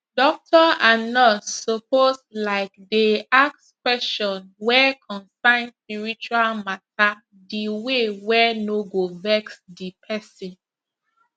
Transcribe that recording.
doctor and nurse suppose likedey ask question wey consain spiritual matter di way wey no go vex di pesin